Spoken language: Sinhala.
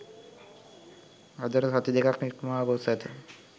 අදට සති දෙකක් ඉක්මවා ගොස් ඇත.